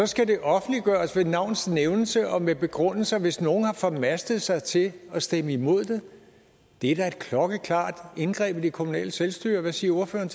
skal det offentliggøres med navns nævnelse og med begrundelser hvis nogle har formastet sig til at stemme imod det det er da et klokkeklart indgreb i det kommunale selvstyre hvad siger ordføreren